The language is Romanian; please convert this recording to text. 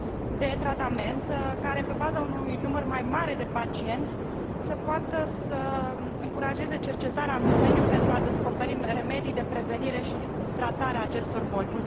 de tratament care, pe baza unui număr mai mare de pacienți, să poată să încurajeze cercetarea în domeniu, pentru a descoperi remedii de prevenire și tratare a acestor boli